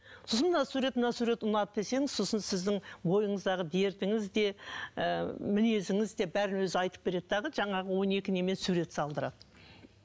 сосын мына сурет мына сурет ұнады десеңіз сосын сіздің ойыңыздағы дертіңіз де ы мінезіңіз де бәрін өзі айтып береді дағы жаңағы он екі немен сурет салдырады